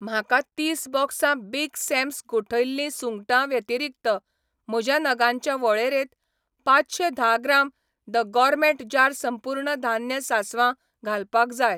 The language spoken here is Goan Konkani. म्हाका तीस बॉक्सां बिग सॅम्स गोठयल्ली सुंगटां व्यतिरीक्त म्हज्या नगांच्या वळेरेंत पांचशें धा ग्राम द गॉरमेट जार संपूर्ण धान्य सासवां घालपाक जाय.